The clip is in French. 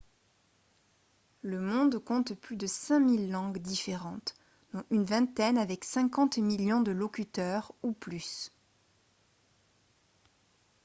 le monde compte plus de 5000 langues différentes dont une vingtaine avec 50 millions de locuteurs ou plus